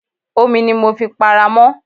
Omi ni mo fi para mọ́.